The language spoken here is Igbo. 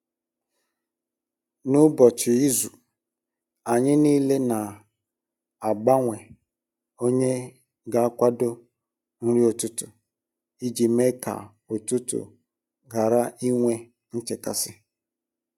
N’ụbọchị izu, anyị niile na-agbanwe onye ga akwado nri ụtụtụ iji mee ka ụtụtụ ghara inwe nchekasị